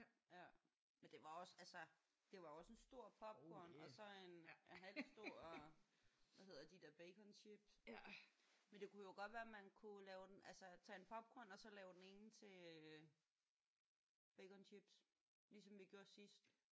Men det var også altså det var jo også en stor popcorn og så en en halvstor hvad hedder de der baconchips. Men det kunne jo godt være man kunne lave den altså tage en popcorn og så lave den ene til baconchips ligesom vi gjorde sidst